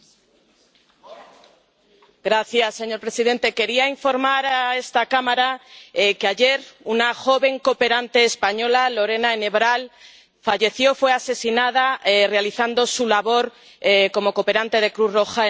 Señor presidente, quería informar a esta Cámara que ayer una joven cooperante española, Lorena Enebral, fue asesinada realizando su labor como cooperante de Cruz Roja en Afganistán.